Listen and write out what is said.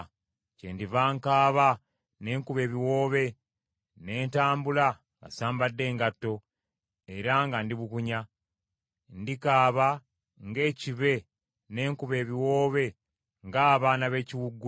Kyendiva nkaaba ne nkuba ebiwoobe, ne ntambula nga sambadde ngatto, era nga ndi bukunya. Ndikaaba ng’ekibe, ne nkuba ebiwoobe ng’abaana b’ekiwuugulu.